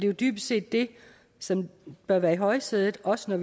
jo dybest set det som bør være i højsædet også når